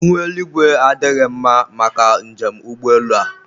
ihu eluigwe adịghị mma maka njem ụgbọelu a